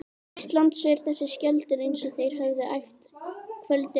Íslands, sverð þess og skjöldur, eins og þeir höfðu æft kvöldið áður.